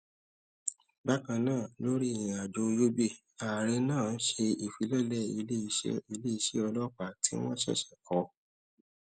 bákan náà lórí ìrìn àjò yobe ààrẹ náà ṣe ìfilọlé iléiṣẹ iléiṣẹ ọlọpàá tí wọn ṣèṣè kọ